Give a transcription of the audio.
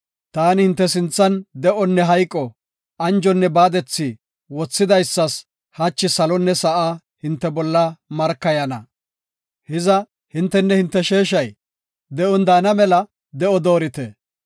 Ta hinte sinthan de7onne hayqo, anjonne baadethi wothidaysas hachi salonne sa7a hinte bolla markayana. Hiza hintenne hinte sheeshay de7on daana mela de7o doorite.